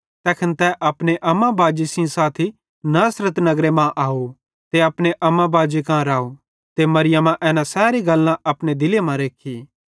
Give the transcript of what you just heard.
तैखन तै अपने अम्मा बाजी सेइं साथी नासरत नगरे मां अव ते अपने अम्मा बाजी कां राव ते मरियमा एना सैरी गल्लां अपने दिले मां रेख्खी